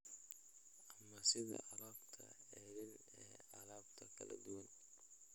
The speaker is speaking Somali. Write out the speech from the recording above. ama sida alaabta ceeriin ee alaabta kala duwan.